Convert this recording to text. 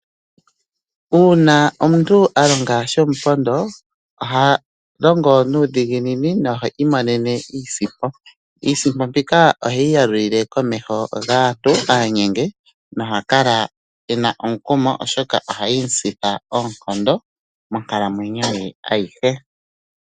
Uuna omuntu a longa shomupondo oha longo nuudhiginini nohi imonene iisimpo. Iisimpo mbika oheyi yalulile komeho gaantu aanyenge noha kala e na omukumo oshoka ohayi mu sitha oonkondo monkalamwenyo ye ayihe.